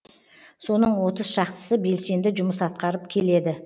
соның отыз шақтысы белсенді жұмыс атқарып келеді